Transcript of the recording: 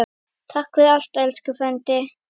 Takk fyrir allt, elsku frændi.